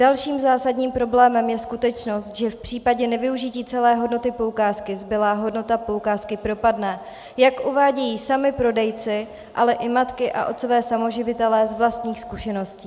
Dalším zásadním problémem je skutečnost, že v případě nevyužití celé hodnoty poukázky zbylá hodnota poukázky propadne, jak uvádějí sami prodejci, ale i matky a otcové samoživitelé z vlastních zkušeností.